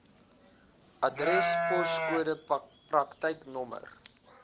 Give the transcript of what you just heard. adres poskode praktyknommer